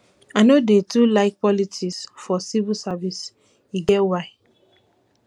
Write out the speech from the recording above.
i no dey too like politics for civil service e get why